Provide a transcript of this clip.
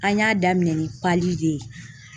An y'a daminɛ ni de ye.